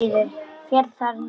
Féll þar niður.